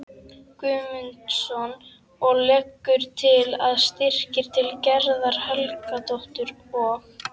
Guðmundsson og leggur til að styrkir til Gerðar Helgadóttur og